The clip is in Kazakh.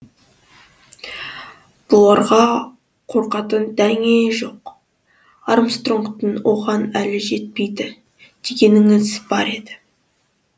бұларға қорқатын дәңе жоқ армстронгтың оған әлі жетпейді дегеніңіз бар еді